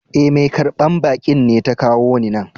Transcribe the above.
E,mai karban bakin ne ta kawo ni nan.